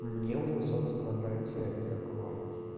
мне у высоцкого нравится этот как его